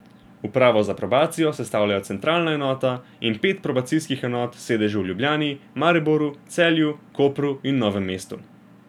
Upravo za probacijo sestavljajo centralna enota in pet probacijskih enot s sedeži v Ljubljani, Mariboru, Celju, Kopru in Novem mestu.